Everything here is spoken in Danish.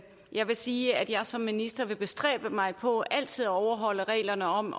jeg vil sige at jeg som minister vil bestræbe mig på altid at overholde reglerne om